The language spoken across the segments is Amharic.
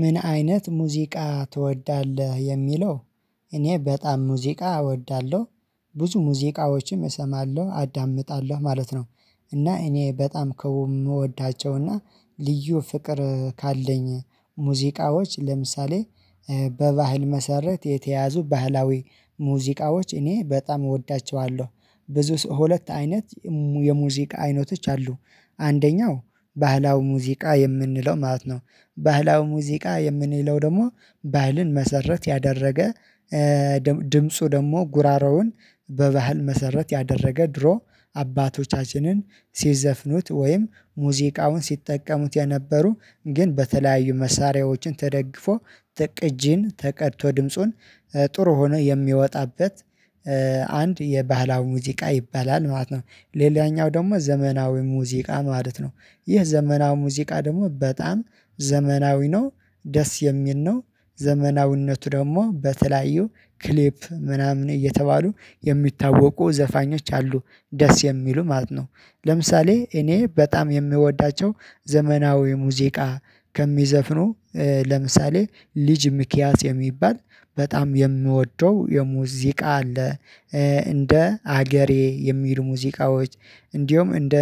ምን አይነት ሙዚቃ ትወዳለህ የሚለው? እኔ በጣም ሙዚቃ እወዳለሁ ብዙ ሙዚቃዎችም እሰማለሁ አዳምጣለሁ ማለት ነው። እና እኔ በጣም ከምወዳቸውና ልዩ ፍቅር ካለኝ ሙዚቃዎች ለምሳሌ። በባህል መሰረት የተያዙ ባህላዊ ሙዚቃዎች እኔ በጣም እወዳችዋለሁ። ብዙ ሁለት አይነት የሙዚቃ አይነቶች አሉ። አንደኛው ባህላዊ ሙዚቃ የምንለው ማለት ነው። ባህላዊ ሙዚቃ የምንለው ደግሞ ባህልን መሰረት ያደረገ። ድምፁ ደግሞ ጉሮሮውን በባህል መሰረት ያደረገ ድሮ አባቶቻችንን ሲዘፍኑት ወይም ሙዚቃውን ሲጠቀሙት የነበሩ ግን በተለያዩ መሳሪያዎችን ተደግፎ ትቅጂን ተቀድቶ ድምፁን ጥሩ ሆኖ የሚወጣበት። አንድ የባህላዊ ሙዚቃ ይባላል ማለት ነው። ሌላኛው ደግሞ ዘመናዊ ሙዚቃ ማለት ነው። ይህ ዘመናዊ ሙዚቃ ደግሞ በጣም ዘመናዊ ነው። ደስ የሚል ነው። ዘመናዊነቱ ደግሞ በተለያዩ ክሊፕ ምናምን እየተባሉ የሚታወቁ ዘፋኞች አሉ። ደስ የሚሉ ማለት ነው። ለምሳሌ እኔ በጣም የምወዳቸው ዘመናዊ ሙዚቃ ከሚዘፍኑ ለምሳሌ ልጅ ሚኪያስ የሚባል በጣም የምወደው የሙዚቃ አለ። እንደ ሀገሬ የሚሉ ሙዚቃዎች እንዲሁም እንደ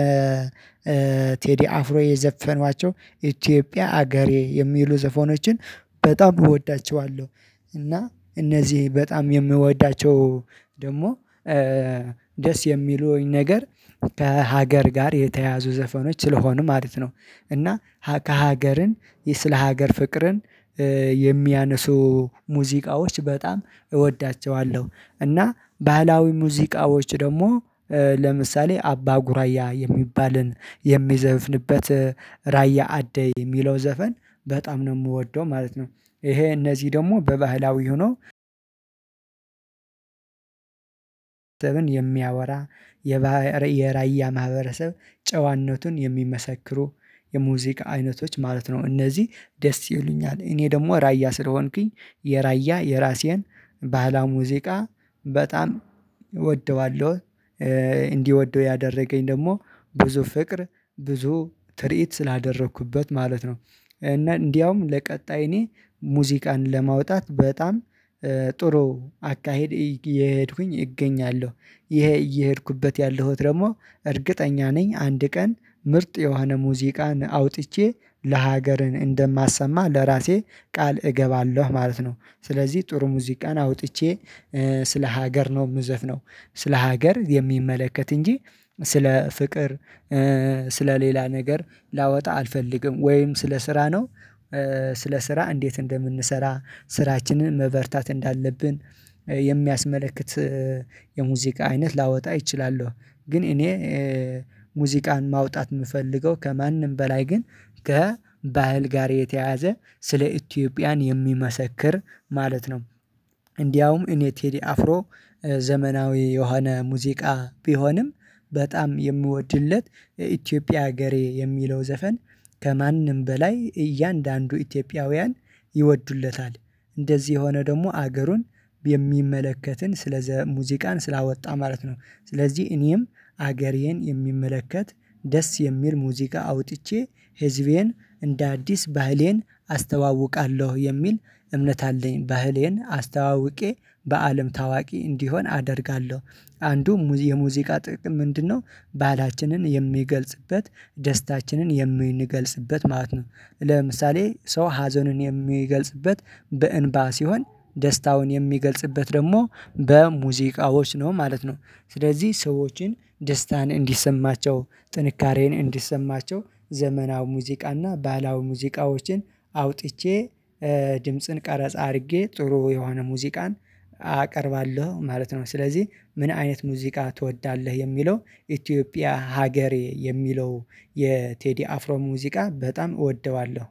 ቴዲ አፍሮ የዘፈኗቸው ኢትዮጵያ አገሬ የሚሉ ዘፎኖችን በጣም እወዳቸዋለሁ። እና እነዚህ በጣም የምወዳቸው ደግሞ ደስ የሚሉኝ ነገር ከሀገር ጋር የተያዙ ዘፈኖች ስለሆኑ ማለት ነው። እና ከሀገርን ስለ ሀገር ፍቅርን የሚያነሱ ሙዚቃዎች በጣም እወዳችዋለሁ። እና ባህላዊ ሙዚቃዎች ደግሞ ለምሳሌ አባ ጉራያ የሚባልን የሚዘፍንበት ራያ አደይ የሚለው ዘፈን በጣም ነው የምወደው ማለት ነው። ይሄ እነዚህ ደግሞ በባህላዊ ሆኖ ዘብን የሚያወራ የራያ ማህበረሰብ ጨዋነቱን የሚመሰክሩ የሙዚቃ አይነቶች ማለት ነው። እነዚህ ደስ ይሉኛል እኔ ደግሞ ራያ ስለሆንኩኝ የራያ የራሴን ባህላዊ ሙዚቃ በጣም እወደዋለሁ። እንዲወደው ያደረገኝ ደግሞ ብዙ ፍቅር ብዙ ትርኢት ስላደረኩበት ማለት ነው። እና እንደውም ለቀጣይ እኔ ሙዚቃን ለማውጣት በጣም ጥሩ አካሄድ እየሄድኩኝ እገኛለሁ። ይሄ እየሄድኩበት ያለሁት ደግሞ እርግጠኛ ነኝ አንድ ቀን ምርጥ የሆነ ሙዚቃን አውጥቼ ለሀገር እንደማሰማህ ለራሴ ቃል እገባለሁ ማለት ነው። ስለዚህ ጥሩ ሙዚቃን አውጥቼ ስለ ሀገር ነው ምዘፍነው ስለ ሀገር የሚመለከት እንጂ ስለ ፍቅር ስለ ሌላ ነገር ላወጣ አልፈልግም ወይም ስለ ስራ ነው። ስለ ስራ እንዴት እንደምንሰራ ስራችንን መበርታት እንዳለብን የሚያስመለክት የሙዚቃ አይነት ላወጣ ይችላል። ግን እኔ ሙዚቃን ማውጣት ምፈልገው ከማንም በላይ ግን ከባህል ጋር የተያዘ ስለ ኢትዮጵያን የሚመሰክር ማለት ነው። እንዲያውም እኔ ቴዲ አፍሮ ዘመናዊ የሆነ ሙዚቃ ቢሆንም በጣም የምወድለት የኢትዮጵያ ሀገሬ የሚለው ዘፈን ከማንም በላይ እያንዳንዱ ኢትዮጵያውያን ይወዱለታል። እንደዚህ የሆነ ደግሞ አገሩን የሚመለከትን ስለ ሙዚቃን ስላወጣ ማለት ነው። ስለዚህ እኔም አገሬን የሚመለከት ደስ የሚል ሙዚቃ አውጥቼ ህዝቤን እንደ አዲስ ባህሌን አስተዋውቃለሁ የሚል እምነት አለኝ ባህሌን አስተዋውቄ በአለም ታዋቂ እንዲሆን አደርጋለሁ። አንዱ የሙዚቃ ጥቅም ምንድነው? ባህላችንን የሚገልጽበት ደስታችንን የሚንገገልጽበት ማለት ነው። ለምሳሌ ሰው ሀዘንን የሚገልጽበት በእንባ ሲሆን ደስታውን የሚገልጽበት ደግሞ በሙዚቃዎች ነው ማለት ነው። ስለዚህ ሰዎችን ደስታን እንዲሰማቸው ጥንካሬን እንዲሰማቸው ዘመናዊ ሙዚቃና ባለአዊ ሙዚቃዎችን አውጥቼ ድምጽን ቀረጻ አድርጌ ጥሩ የሆነ ሙዚቃን አቀርባለሁ ማለት ነው። ስለዚህ ምን አይነት ሙዚቃ ትወዳለህ የሚለው ኢትዮጵያ ሀገሬ የሚለው የቴዲ አፍሮ ሙዚቃ በጣም እወደዋለሁ